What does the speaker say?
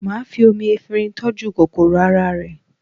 Máà fi omi efinrin tọ́jú kòkòrò ara rẹ